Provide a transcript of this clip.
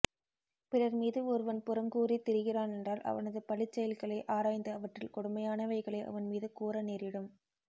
பிறர்மீது ஒருவன் புறங்கூறித் திரிகிறான் என்றால் அவனது பழிச் செயல்களை ஆராய்ந்து அவற்றில் கொடுமையானவைகளை அவன் மீது கூற நேரிடும்